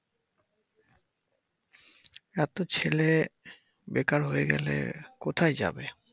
এতো ছেলে বেকার হয়ে গেলে কোথায় যাবে?